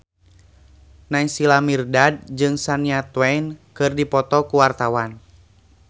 Naysila Mirdad jeung Shania Twain keur dipoto ku wartawan